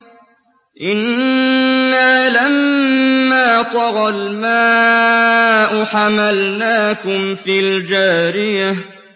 إِنَّا لَمَّا طَغَى الْمَاءُ حَمَلْنَاكُمْ فِي الْجَارِيَةِ